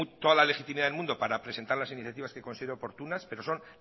toda la legitimidad del mundo para presentar las iniciativas que considere oportunas pero son